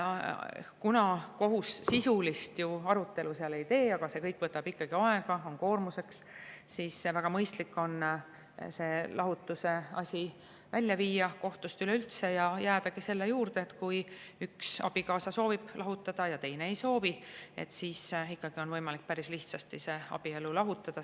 Kuna kohus sisulist arutelu seal ei tee, aga kõik võtab ikkagi aega ja lisab koormust, siis väga mõistlik on see lahutuse asi kohtust üleüldse välja viia ja jääda juurde, et kui üks abikaasa soovib lahutada ja teine ei soovi, siis ikkagi on võimalik päris lihtsasti abielu lahutada.